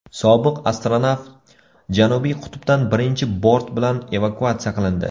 Sobiq astronavt Janubiy qutbdan birinchi bort bilan evakuatsiya qilindi.